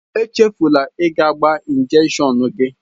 Echefula ịga gbaa njekshọn gị!